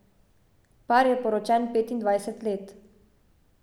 Par je poročen petindvajset let.